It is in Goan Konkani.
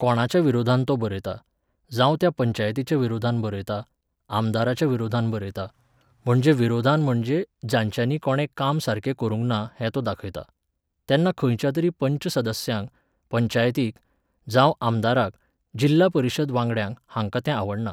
कोणाच्या विरोधान तो बरयता, जावं त्या पंचायतीच्या विरोधांत बरयता, आमदाराच्या विरोधान बरयता, म्हणजे विरोधान म्हणजे जांच्यानी कोणें काम सारकें करुंक ना हें तो दाखयता. तेन्ना खंयच्या तरी पंच सदस्याक, पंचायतीक, जावं आमदाराक, जिल्ला परीशद वांगड्याक हांकां तें आवडना.